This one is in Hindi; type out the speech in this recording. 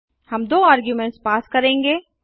हम दो आर्गुमेंट्स पास करेंगे